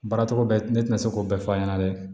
Baaracogo bɛɛ ne tɛna se k'o bɛɛ fɔ a ɲɛna dɛ